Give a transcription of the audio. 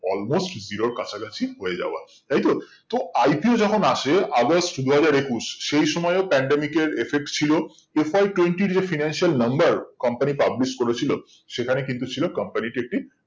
almost zero র কাছাকাছি হয়ে যাওয়া তাই তো তো ipa এ যখন আসে অগাস্ট দুই হাজার একুশ সেই সময়ও pandemic এর effect ছিল a fall twenty react financial number company publish করেছিল সেখানে কিন্তু ছিল company টি একটি